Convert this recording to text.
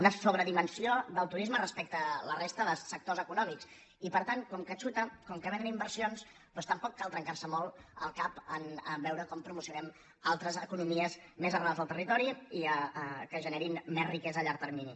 una sobredimensió del turisme respecte a la resta de sectors econòmics i per tant com que xuta com que vénen inversions doncs tampoc cal trencar·se molt el cap a veure com promocionem altres economies més arrelades al territori i que generi més riquesa a llarg termini